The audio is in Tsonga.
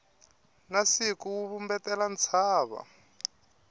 na siku wu vumbetela ntshava